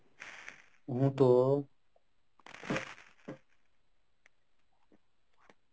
হম তো.